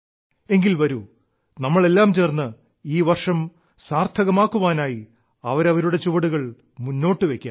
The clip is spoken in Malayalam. എങ്കിൽ വരൂ നമ്മളെല്ലാം ചേർന്ന് ഈ വർഷം സാർത്ഥകമാക്കുവാനായി അവരവരുടെ ചുവടുകൾ മുന്നോട്ട് വെയ്ക്കാം